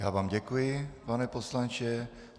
Já vám děkuji, pane poslanče.